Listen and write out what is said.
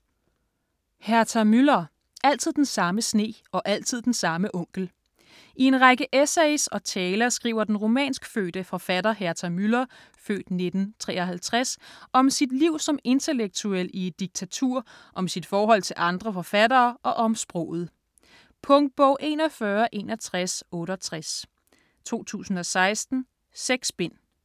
Müller, Herta: Altid den samme sne og altid den samme onkel I en række essays og taler skriver den rumænskfødte forfatter Herta Müller (f. 1953) skriver om sit liv som intellektuel i et diktatur, om sit forhold til andre forfattere og om sproget. Punktbog 416168 2016. 6 bind.